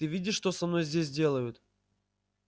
ты видишь что со мной здесь делают